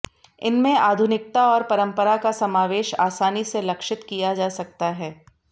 इनमें आधुनिकता और परंपरा का समावेश आसानी से लक्षित किया जा सकता है